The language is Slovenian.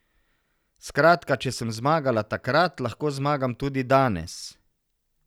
Skratka, če sem zmagala takrat, lahko zmagam tudi danes.